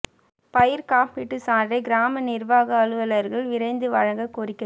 பயிா் காப்பீடு சான்றை கிராம நிா்வாக அலுவலா்கள் விரைந்து வழங்கக் கோரிக்கை